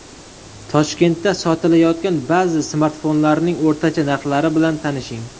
Toshkentda sotilayotgan ba’zi smartfonlarning o‘rtacha narxlari bilan tanishing.